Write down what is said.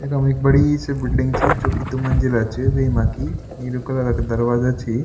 यखम एक बड़ी सी बिलडिंग च जुकी दुमंजिला च वेमा की नीलू कलर क दरवाजा छि।